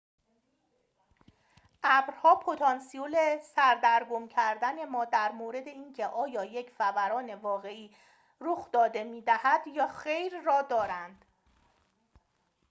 ابرها پتانسیل سردرگم کردن ما در مورد اینکه آیا یک فوران واقعی رخ داده می‌دهد یا خیر را دارند